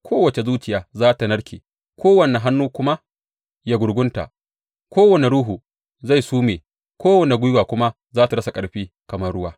Kowace zuciya za tă narke kowane hannu kuma ya gurgunta; kowane ruhu zai sume kowane gwiwa kuma ta rasa ƙarfi kamar ruwa.’